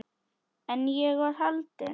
En ég var haldin.